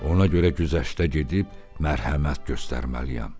Ona görə güzəştə gedib mərhəmət göstərməliyəm.